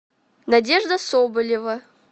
надежда соболева